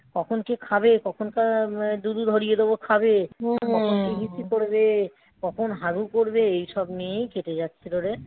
কখন কে খাবে? কখন কার ডুবি ভরিয়ে দেবো খাবে? হিসু করবে. কখন হাগু করবে এইসব নিয়েই কেটে যাচ্ছিল রে.